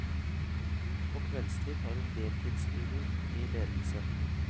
På kveldstid tar hun deltidsstudium i ledelse.